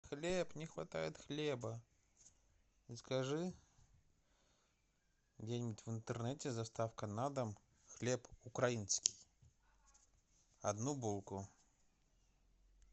хлеб не хватает хлеба закажи где нибудь в интернете с доставкой на дом хлеб украинский одну булку